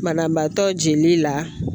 Banabaatɔ jeli la